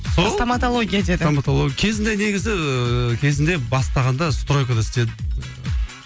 сол стоматология деді стоматология кезінде негізі кезінде бастағанда стройкада істедім